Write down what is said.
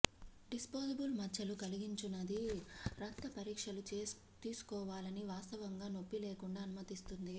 disposable మచ్చలు కల్పించునది రక్త పరీక్షలు తీసుకోవాలని వాస్తవంగా నొప్పిలేకుండా అనుమతిస్తుంది